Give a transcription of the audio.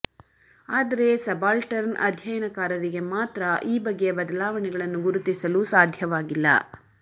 ಆದರೆ ಸಬಾಲ್ಟರ್ನ್ ಅಧ್ಯಯನಕಾರರಿಗೆ ಮಾತ್ರ ಈ ಬಗೆಯ ಬದಲಾವಣೆಗಳನ್ನು ಗುರುತಿಸಲು ಸಾಧ್ಯವಾಗಿಲ್ಲ